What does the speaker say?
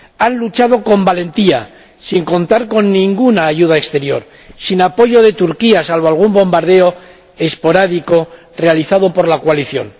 Han luchado con valentía, sin contar con ninguna ayuda exterior, sin apoyo de Turquía, salvo algún bombardeo esporádico realizado por la coalición.